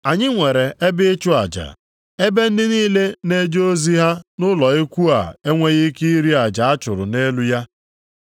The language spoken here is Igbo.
Anyị nwere ebe ịchụ aja, ebe ndị niile na-eje ozi ha nʼụlọ ikwu a enweghị ike iri aja a chụrụ nʼelu ya.